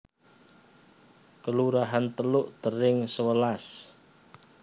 Kelurahan Teluk Tering sewelas